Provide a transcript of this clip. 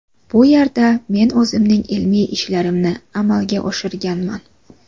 Bu yerda men o‘zimning ilmiy ishlarimni amalga oshirganman.